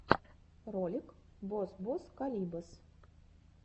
ролик бос бос калибос